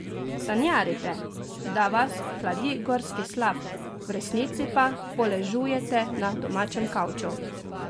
Sanjarite, da vas hladi gorski slap, v resnici pa poležujete na domačem kavču?